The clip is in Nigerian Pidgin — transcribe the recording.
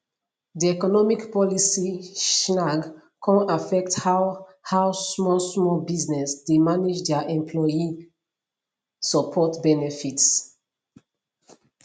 di economic policy chnag kon affect how how small small business dey manage their employee support benefits